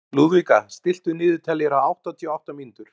Lúðvíka, stilltu niðurteljara á áttatíu og átta mínútur.